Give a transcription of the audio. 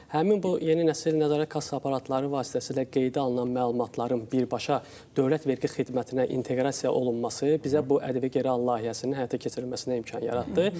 Həmin bu yeni nəsil nəzarət kassa aparatları vasitəsilə qeydə alınan məlumatların birbaşa Dövlət Vergi Xidmətinə inteqrasiya olunması bizə bu ƏDV geri al layihəsinin həyata keçirilməsinə imkan yaratdı.